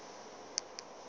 di na le medu e